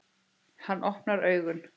Hann opnar augun.